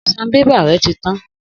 Sanbébà rẹ ti tan